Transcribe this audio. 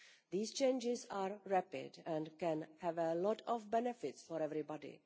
These changes are rapid and can have a lot of benefits for everybody.